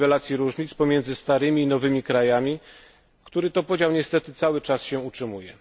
o niwelacji różnic pomiędzy starymi i nowymi krajami, który to podział niestety cały czas się utrzymuje.